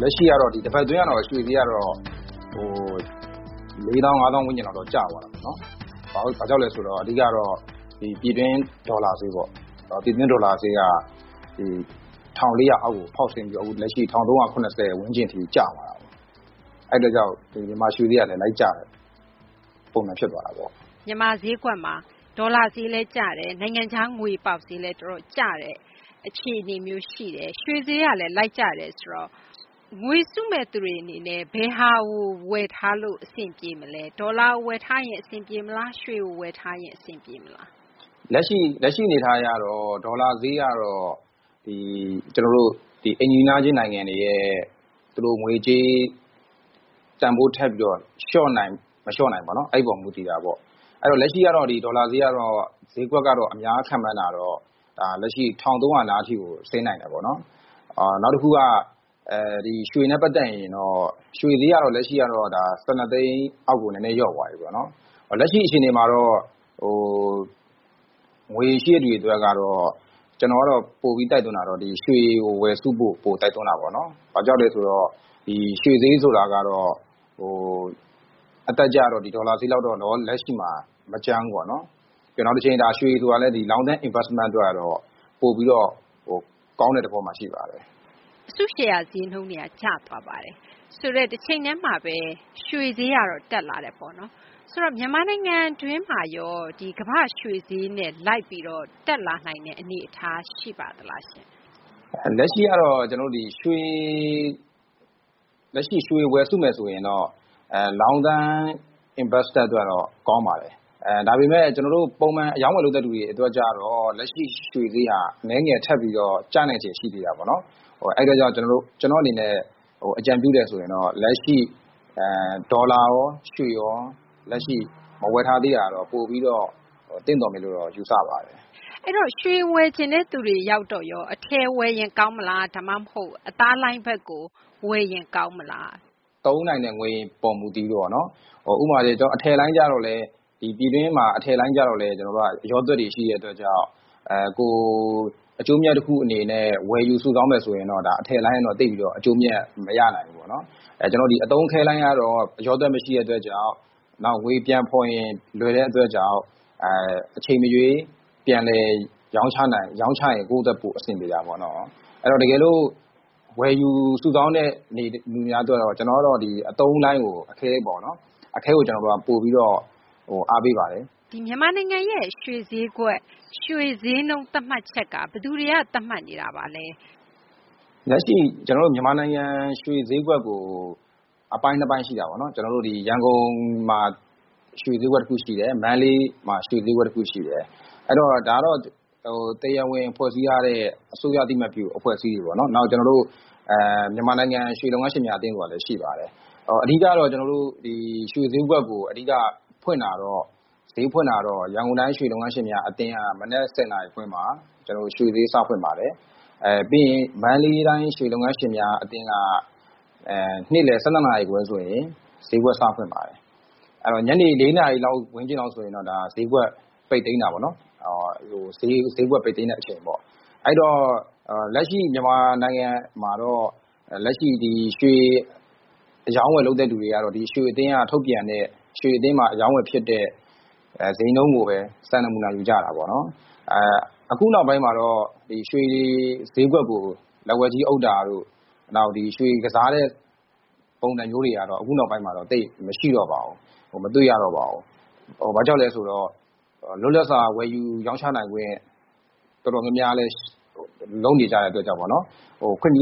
လက်ရှိကတော့ ဒီတပတ် အတွင်းကတော့ ရွှေ ဈေးကတော့ ၄ သောင်း၊ ၅ သောင်း ဝန်းကျင်ကတော့ ကျသွားတာပေါ့နော်။ ဘာကြောင့်လဲ ဆိုတော့ အဓိက ကတော့ ပြည်တွင်း ဒေါ်လာ ဈေးပေါ့၊ ပြည်တွင်း ဒေါ်လာဈေးက ၁,၄၀၀ အောက်ကို ဖောက်ဆင်းပြီးတော့ လက်ရှိ ၁,၃၇၀ ဝန်းကျင်ထိကျသွားတာပေါ့။ အဲဒီ အတွက်ကြောင့် မြန်မာရွှေဈေးကလည်း လိုက်ကျတဲ့ ပုံစံ ဖြစ်သွားတာပေါ့။ မြန်မာ ဈေးကွက်မှာ ဒေါ်လာဈေးလည်းကျတယ်ဈ၊ နိုင်ငံခြား ငွေ ပေါက်ဈေးလည်း တော်တော် ကျတယ် အခြေအနေမျိုး ရှိတယ်၊ ရွှေဈေးကလည်း လိုက် ကျတယ်ဆိုတော့ ငွေစုမယ့်သူတွေ အနေနဲ့ ဘယ်ဟာကို ဝယ်ထားလို့ အဆင်ပြေမလဲ၊ ဒေါ်လာကို ဝယ်ထားရင် အဆင်ပြေမလား၊ ရွှေကို ဝယ်ထားရင် အဆင်ပြေမလား။ လက်ရှိ အနေအထား အရတော့ ဒေါ်လာဈေးကတော့ ဒီ ကျနော်တို့ အိမ်နီးနားချင်း နိုင်ငံတွေရဲ့ ငွေကြေး တန်ဖိုး ထပ်ပြီးတော့ လျှော့နိုင် မလျှော့နိုင်ပေါ့ အဲဒီပေါ်မှာ မူတည်တာပေါ့။ လက်ရှိကတော့ ဒေါ်လာဈေးကတော့ အများ ခန့်မှန်းတာကတော့ လက်ရှိ ၁,၃၀၀ နားထိကို ဆင်းနိုင်တယ်ပေါ့။ နောက်တခုက ရွှေနဲ့ ပတ်သက်ရင်တော့ ရွှေဈေးကတော့ လက်ရှိကတော့ ၁၂ သိန်း အောက်ကို လျှော့သွားတာပေါ့။ လက်ရှိ အခြေအနေမှာတော့ ငွေရှိတဲ့သူတွေ အတွက်ကတော့ ကျနော် ကတော့ ပိုပြီး တိုက်တွန်းတာတော့ ရွှေကို ဝယ်စုဖို့ ပိုတိုက်တွန်းတာပေါ့နော်။ ဘာကြောင့်လဲ ဆိုတော့ ရွှေ ဈေးဆိုတာကတော့ အတက်အကျ ကတော့ ဒီ ဒေါ်လာဈေးလောက်တော့ လက်ရှိမှာ မကြမ်းဘူးပေါ့နော်။ နောက်တခု ရွှေဆိုတာလည်း နောင်တချိန် Long Term Investment အတွက်တော့ ပိုပြီးတော့ ကောင်းတဲ့ သဘောမှာ ရှိပါတယ်။ အစုရှယ်ယာ ဈေးနှုန်းတွေက ကျသွားပါတယ်၊ တချိန်တည်းမှာဘဲ ရွှေဈေးကတော့ တက်လာတယ်ပေါ့နော်။ ဆိုတော့ မြန်မာနိုင်ငံတွင်းမှာရော ကမ္ဘာ့ရွှေဈေးနဲ့ လိုက်ပြီးတော့ တက်လာနိုင်တဲ့ အနေအထား ရှိပါသလား။ လက်ရှိကတော့ ကျနော်တို့ ဒီ ရွှေ ဝယ်စုမယ် ဆိုရင်တော့ ရေရှည် ရင်းနှီးမြှုပ်နှံမှု အတွက်တော့ ကောင်းပါတယ်။ ဒါပေမယ့် ကျနော်တို့ ပုံမှန် အရောင်းအဝယ် လုပ်တဲ့ လူတွေ အတွက်တော့ လက်ရှိ ရွှေဈေးက အနည်းငယ် ထပ်ပြီးတော့ ကျနိုင်ခြေ ရှိသေးတာပေါ့နော်။ အဲဒါကြောင့် ကျနော့် အနေနဲ့ အကြံပြုတယ် ဆိုရင်တော့ လက်ရှိ ဒေါ်လာရော ရွှေရော လက်ရှိ မဝယ်သေးတာတော့ ပိုပြီးတော့ သင့်တော်မယ်လို့တော့ ယူဆပါတယ်။ အဲတော့ ရွှေ ဝယ်ချင်တဲ့ သူတွေ အတွက်ရော အထည်ဝယ်ရင် ကောင်းမလား ဒါမှမဟုတ် အသားလိုင်း ဘက်ကို ဝယ်ရင် ကောင်းမလား။ သုံးနိုင်တဲ့ ငွေပေါ် မူတည်ပြီးတော့ပေါ့နော် ဥပမာ ကျနော်တို့ အထည်လိုင်းကျတော့လည်း ပြည်တွင်းမှာ အထည်လိုင်းကျတော့လည်း အလျော့တွက် တွေ ရှိတဲ့ အတွက်ကြောင့် အကျိုးအမြတ် တခု အနေနဲ့ ဝယ်ယူစုဆောင်းမယ် ဆိုရင်တော့ အထည်လိုင်းကတော့ သိပ်ပြီးတော့ အကျိုးအမြတ် မရနိုင်ဘူးပေါ့နော်။ ကျနော်တို့ ဒီ အတုံး အခဲလိုင်းကတော့ အလျော့တွက် မရှိတဲ့ အတွက်ကြောင့် နောက် ငွေပြန်ဖော်ရင် လွယ်တဲ့ အတွက်ကြောင့် အချိန်မရွေး ပြန်လည် ရောင်းချရင် ကိုယ့်အတွက် ပိုအဆင်ပြေတာပေါ့နော်။ အဲတော့ တကယ်လို့ ဝယ်ယူစုဆောင်းတဲ့ သူများ အတွက်တော့ ကျနော်ကတော့ အတုံးလိုင်းကို အခဲပေါ့နော် အခဲကို ပိုပြီးတော့ အားပေးပါတယ်။ မြန်မာနိုင်ငံရဲ့ ရွှေဈေးနှုန်း သတ်မှတ်ချက်က ဘယ်သူတွေက သတ်မှတ်နေတာပါလဲ။ လက်ရှိ ကျနော်တို့ မြန်မာနိုင်ငံ ရွှေဈေးကွက်ကို အပိုင်း ၂ ပိုင်း ရှိတာပေါ့နော်။ ကျနော်တို့ ဒီ ရန်ကုန် မှာ ရွှေဈေးကွက် တခု ရှိတယ်။ မန္တလေးမှာ ရွှေဈေးကွက် တခု ရှိတယ်။ အဲတော့ ဒါကတော့ တရားဝင် ဖွဲ့စည်းထားတဲ့ အစိုးရ အသိအမှတ်ပြု အဖွဲ့အစည်းတွေ ပေါ့နော်။ နောက် ကျနော်တို့ မြန်မာနိုင်ငံ ရွှေလုပ်ငန်းရှင်များ အသင်း ဆိုတာလည်း ရှိပါတယ်။ ရွှေဈေးကွက်ကို အဓိက ဖွင့်တာတော့ ရန်ကုန်တိုင်း ရွှေလုပ်ငန်းရှင်များ အသင်းက မနက် ၁၀ နာရီခွဲမှာ ရွှေဈေး စဖွင့်ပါတယ်။ ပြီးရင် မန္တလေးတိုင်း ရွှေလုပ်ငန်းရှင်များ အသင်းက နေ့လည်း ၁၂နာရီခွဲ ဆိုရင် ဈေးကွက် စဖွင့်ပါတယ်။ အဲတော့ ညနေ ၄ နာရီခွဲ ဝန်းကျင် ဆိုရင်တော့ ဈေးကွက် ပိတ်သိမ်း တာပေါ့နော်။ ဈေး ပိတ်တဲ့ အချိန်ပေါ့။ အဲဒီတော့ မြန်မာနိုင်ငံမှာတော့ လက်ရှိ ရွှေအရောင်းအဝယ် လုပ်သူတွေကတော့ ရွှေအသင်းက ထုတ်ပြန်တဲ့ ရွှေအသင်းမှာ အရောင်းအဝယ် ဖြစ်တဲ့ ဈေးနှုန်းကိုဘဲ စံနမူနာ ယူကြတာပေါ့နော်။ အခုနောက်ပိုင်းမှာတော့ ရွှေဈေးကွက်ကို လက်ဝါးကြီး အုပ်တာတို့ နောက် ရွှေကစားတဲ့ ပုံစံမျိုးတွေကတော့ အခုနောက်ပိုင်းမှာတော့ သိပ်မရှိတော့ပါဘူး။ မတွေ့ရတော့ပါဘူး။ ဘာကြောင့်လဲ ဆိုတော့ လွတ်လပ်စွာ ဝယ်ယူ ရောင်းချနိုင်ခွင့် တော်တော်များများလည်း လုပ်နေကြတဲ့ ခွင့်ပြု ပေး